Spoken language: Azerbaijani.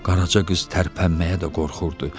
Qaraca qız tərpənməyə də qorxurdu.